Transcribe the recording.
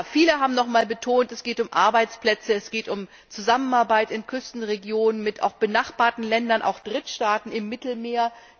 Viele haben noch einmal betont Es geht um Arbeitsplätze, es geht um Zusammenarbeit in Küstenregionen, auch mit benachbarten Ländern, auch Drittstaaten im Mittelmeer.